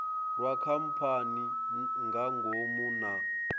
lwa khamphani nga ngomu na